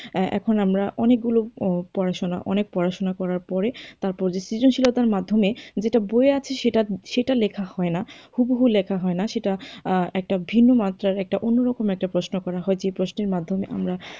এখন আমরা অনেক গুলো পড়াশুনা অনেক পড়াশুনা করার পরে তারপর সৃজনশীলতার মাধ্যমে যেটা বইয়ে আছে সেটা সেটা লেখা হয়না, হুবহু লেখা হয়না সেটা একটা ভিন্ন মাত্রার একটা অন্য রকম একটা প্রশ্ন করা হয় যে প্রশ্নের মাধ্যমে আমরা,